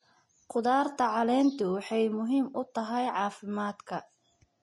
Khudaarta caleentu waxay muhiim u tahay caafimaadka.